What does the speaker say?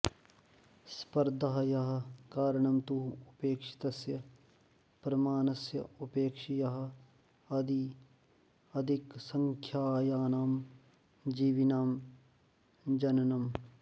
स्पर्धायाः कारणं तु अपेक्षितस्य प्रमाणस्य अपेक्षया अधिकसंख्यानां जीविनां जननम्